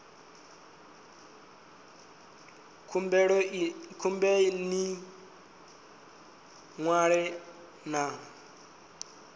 khumbelo ya ḽi ṅwalo ḽa